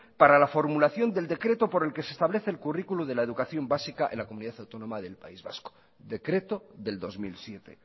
para la formulación del decreto por el que se establece el currículum de la educación básica en la comunidad autónoma del país vasco decreto del dos mil siete